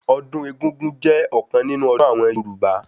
Ọdún egúngún jẹ́ ọ̀kan nínú ọdún àwọn Yorùbá